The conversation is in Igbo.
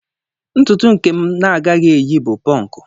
Ntutu nke m na-agaghị eyi bụ ponku.